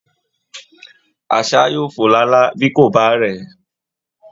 Àṣá yóò fò lálá bí kò bá rẹ̀ẹ́